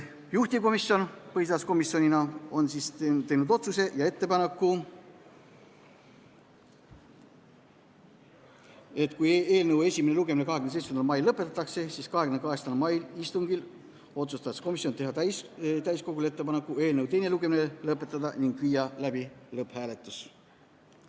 Juhtivkomisjon põhiseaduskomisjonina on teinud otsuse, et kui eelnõu esimene lugemine 27. mail lõpetatakse, siis tehakse täiskogule ettepanek eelnõu teine lugemine lõpetada ning viia läbi lõpphääletus.